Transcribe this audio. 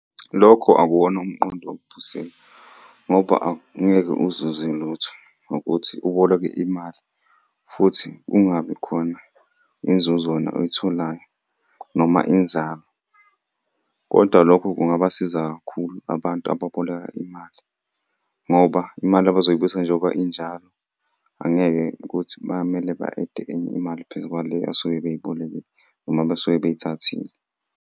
Lokho akuwona umqondo ophusile, ngoba angeke uzuze lutho, ukuthi uboleke imali futhi kungabi khona inzuzo wena oyitholayo noma inzalo, kodwa lokho kungabasiza kakhulu abantu ababoleka imali ngoba imali abazoyibuyisa njengoba injalo. Angeke ukuthi bamele ba-add-e enye imali phezu kwale asuke beyibolekile noma basuke beyithathile.